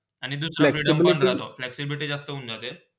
आणि तू हतो flexibility जास्त होन जाते.